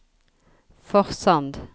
Forsand